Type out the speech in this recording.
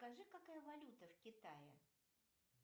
скажи какая валюта в китае